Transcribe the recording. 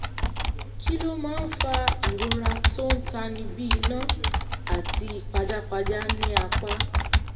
kí ló máa ń fa ìrora tó ń tani bí iná àti pajápajá ní apá?